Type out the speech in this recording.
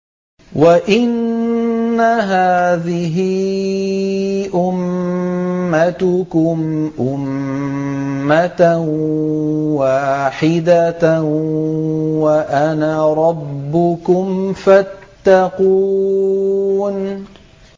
وَإِنَّ هَٰذِهِ أُمَّتُكُمْ أُمَّةً وَاحِدَةً وَأَنَا رَبُّكُمْ فَاتَّقُونِ